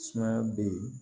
Sumaya be yen